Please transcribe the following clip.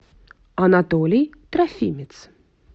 анатолий трофимец